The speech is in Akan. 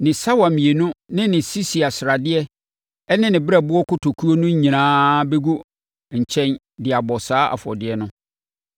ne sawa mmienu ne ne sisia sradeɛ ne ne berɛboɔ kotokuo no nyinaa bɛgu nkyɛn de abɔ saa afɔdeɛ no.